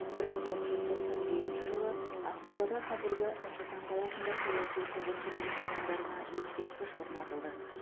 бір мың тоғыз жүз тоқсан жетінші жылы ақмолада қазіргі нұр сұлтан қаласы саяси қуғын сүргін құрбандарына ескерткіш орнатылды